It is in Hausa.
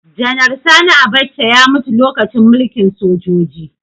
Janar Sani Abacha ya mutu lokacin mulkin sojoji